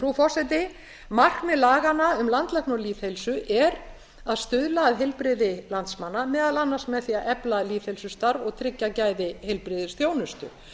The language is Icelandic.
frú forseti markmið laganna um landlækni og lýðheilsu er að stuðla að heilbrigði landsmanna meðal annars með því að efla lýðheilsustarf og tryggja gæði heilbrigðisþjónustu